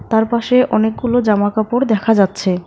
তার পাশে অনেকগুলো জামা কাপড় দেখা যাচ্ছে।